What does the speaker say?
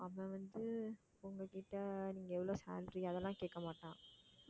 அவன் வந்து உங்க கிட்ட நீங்க எவ்வளவு salary அதெல்லாம் கேட்க மாட்டான்